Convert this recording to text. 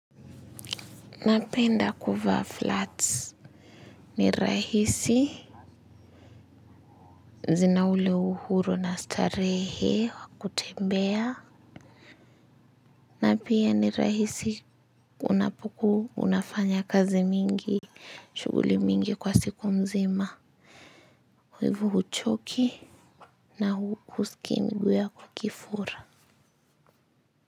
Napenda kuvaa flats ni rahisi zina ule uhuru na starehe wa kutembea na pia ni rahisi unapokuwa unafanya kazi mingi shuguli mingi kwa siku mzima. Kwa hivyo huchoki na huskii miguu yako ikifura.